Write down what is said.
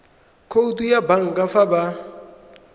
khoutu ya banka fa ba